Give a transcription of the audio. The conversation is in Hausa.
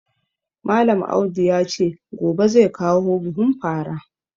Malam Audu ya ce gobe zai kawo buhun fara